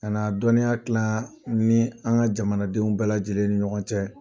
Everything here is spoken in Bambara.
Ka na dɔnniya kila n ni an ka jamanadenw bɛɛ lajɛlen ni ɲɔgɔn cɛ.